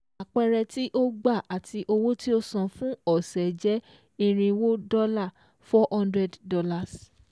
Àpẹẹrẹ tí o gba àti owó tí ò san fún ọ̀sẹ̀ je irinwó dọ́là ($400)